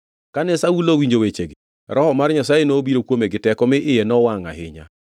Kane Saulo owinjo wechegi, Roho mar Nyasaye nobiro kuome gi teko, mi iye nowangʼ ahinya.